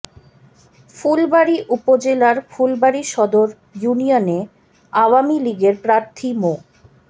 ফুলবাড়ী উপজেলার ফুলবাড়ী সদর ইউনিয়নে আওয়ামী লীগের প্রার্থী মো